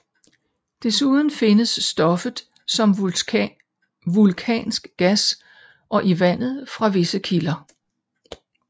Desuden findes stoffet som vulkansk gas og i vandet fra visse kilder